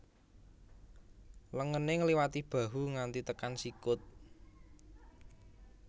Lengene ngliwati bahu nganti tekan sikut